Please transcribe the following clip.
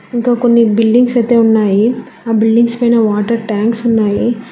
ఇంకా కొన్ని బిల్డింగ్స్ అయితే ఉన్నాయి ఆ బిల్డింగ్స్ పైన వాటర్ ట్యాంక్స్ ఉన్నాయి.